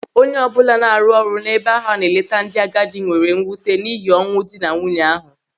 Onye ọbụla na-arụ ọrụ n'ebe ahụ a na-eleta ndị agadi nwere mmụta n'ihi ọnwụ ndị na nwunye ahụ.